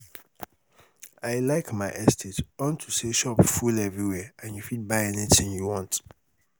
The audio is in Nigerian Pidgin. i like my estate unto say shop full everywhere and you fit buy anything you you want